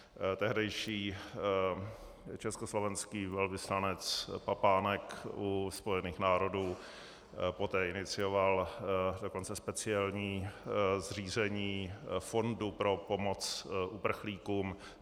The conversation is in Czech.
Tehdejší československý velvyslanec Papánek u Spojených národů poté inicioval dokonce speciální zřízení fondu pro pomoc uprchlíkům.